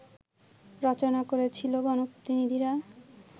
রচনা করেছিলো গণপ্রতিনিধিরা